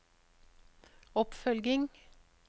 oppfølging